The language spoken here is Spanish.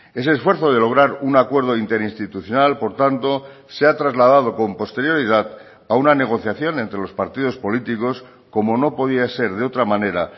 ese esfuerzo de lograr un acuerdo interinstitucional por tanto se ha trasladado con posterioridad a una negociación entre los partidos políticos como no podía ser de otra manera